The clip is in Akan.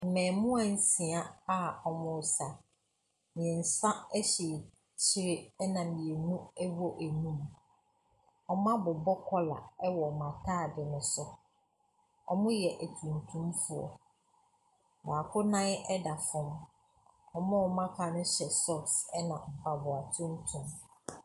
Mmaamua nsia a wɔresa. Mmeɛnsa te akyire, ɛnna mmienu wɔ anim. Wɔabobɔ kɔla wɔ wɔn atade no so. Wɔyɛ atuntumfoɔ. Baako nan da fam, wɔn a wɔaka no hyɛ socks ɛnna mpaboa tuntum.